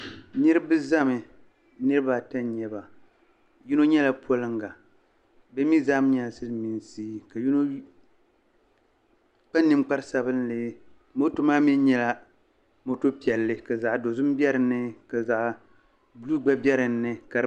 Niriba zami niriba ata n-nyɛ ba yino nyɛla poliŋga bɛ mi zaa nyɛla Silimiinsi yino kpa ninkpar'sabinli moto maa mi nyɛla moto piɛlli ka zaɣ'dozim be dini ka zaɣ'buluu gba be dini.